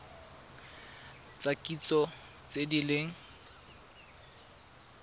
tsa kitso tse di leng